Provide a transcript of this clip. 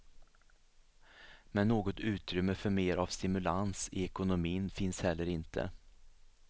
Men något utrymme för mer av stimulans i ekonomin finns heller inte.